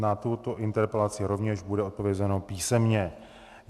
Na tuto interpelaci rovněž bude odpovězeno písemně.